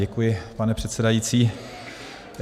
Děkuji, pane předsedající.